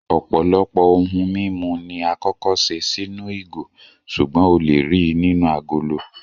Ọ̀pọ̀lọpọ̀ ohun mímu ni àkọ́kọ́ ṣe sínú ìgò, ṣùgbọ́n o lè ríi nínú agolo